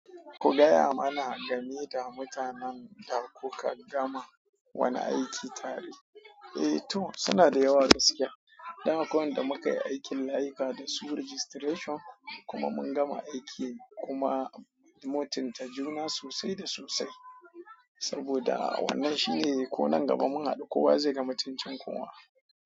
Ku gaya mana game da mutanen da kuka gama wani aiki tare. Eh to sina da yawa gaskiya, dan akwai wanda mukai aikin layika da su registration kuma mun gama aiki kuma mutunta juna sosai da sosai. Saboda wannan shine ko nan gaba mun haɗu kowa ze ga mutuncin kowa.